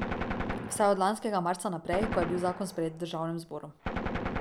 Vsaj od lanskega marca naprej, ko je bil zakon sprejet v Državnem zboru.